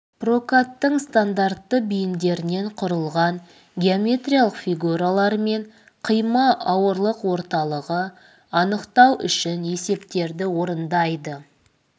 прокаттың стандартты бейіндерінен құрылған геометриялық фигуралар мен қима ауырлық орталығы анықтау үшін есептерді орындайды